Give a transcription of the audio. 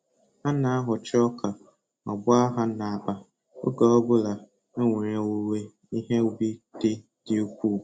A na-aghọcha ọka ma gbaa ha n'akpa oge ọ bụla enwere owuwe ihe ubi dị dị ukwuu.